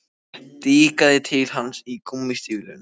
Ég stikaði til hans í gúmmístígvélunum.